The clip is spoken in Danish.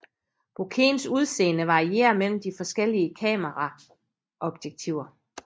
Bokehens udseende varierer mellem de forskellige kameraobjektiver